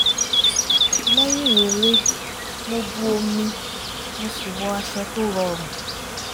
lẹ́yìn eré mo bu omi mo sì wọ aṣọ tó rọrùn